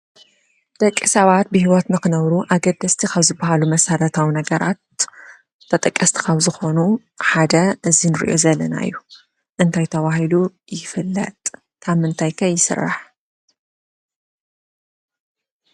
ደቂ ሰባት ብሂወት ንክነብሩ ኣገደስቲ ካብ ዝበሃሉመሰረታዊ ነገራት ተጠቀስቲ ካብ ዝኾኑ ሓደ እዚ ንረኦ ዘለና እዩ። እንታይ ተባሂሉ ይፍለጥ ? ካብ ምንታይ ከ ይስራሕ ?